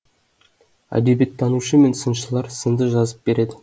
әдебиеттанушы мен сыншылар сынды жазып береді